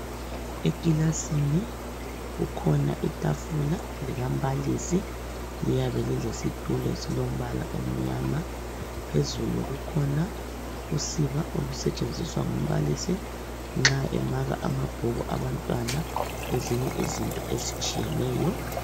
Ekilasini kukhona itafula likambalisi, liyabe lisesitulo esilombala omnyama. Phezulu kukhona usiba olusetshenziswa ngumbalisi nxa emaka amabhuku abantwana, lezinye izinto ezitshiyeneyo.